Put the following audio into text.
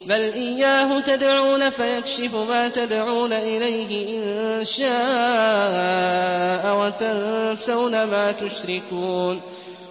بَلْ إِيَّاهُ تَدْعُونَ فَيَكْشِفُ مَا تَدْعُونَ إِلَيْهِ إِن شَاءَ وَتَنسَوْنَ مَا تُشْرِكُونَ